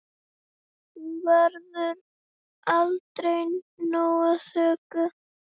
Hún verður aldrei nóg þökkuð.